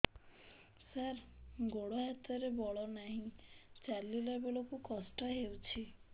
ସାର ଗୋଡୋ ହାତରେ ବଳ ନାହିଁ ଚାଲିଲା ବେଳକୁ କଷ୍ଟ ହେଉଛି